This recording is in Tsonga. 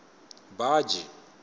baji